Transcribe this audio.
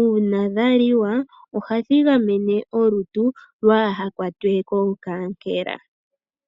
uuna dhaliwa ohadhi gamene olutu kaalukwatwe ko kaankelela.